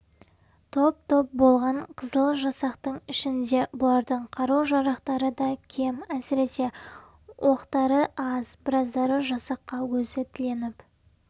топ-топ болған қызыл жасақтың ішінде бұлардың қару-жарақтары да кем әсіресе оқтары аз біраздары жасаққа өзі тіленіп